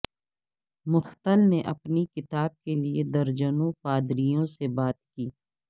مختل نے اپنی کتاب کے لیے درجنوں پادریوں سے بات کی